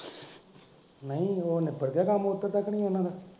ਨਹੀਂ ਉਹ ਨਿਬੜ ਗਿਆ ਕੰਮ ਓਧਰ ਦਾ ਕੀ ਨਹੀਂ ਉਹਨਾਂ ਦਾ?